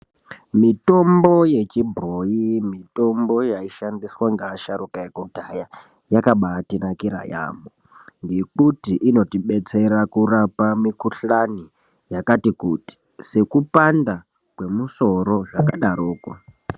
Mitombo yechibhoyi, mitombo yaishandiswa ngeasharuka ekudhaya, yakabaatinakira yaambo ngekuti inotidetsera kurapa mikuhlani yakati kuti sekupanda kwemusoro zvakadarokwo.